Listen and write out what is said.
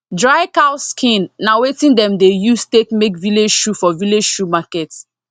dry cow skin na wetin dem dey use take make village shoe for village shoe market